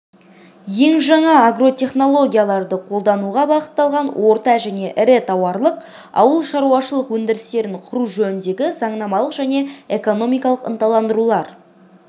ең жаңа агротехнологияларды қолдануға бағытталған орта және ірі тауарлық ауылшаруашылық өндірістерін құру жөніндегі заңнамалық және экономикалық ынталандырулар